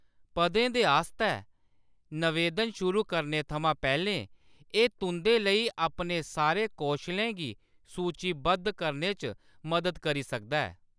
पदें दे आस्तै नवेदन शुरू करने थमां पैह्‌‌‌लें एह्‌‌ तुंʼदे लेई अपने सारे कौशलें गी सूचीबद्ध करने च मदद करी सकदा ऐ।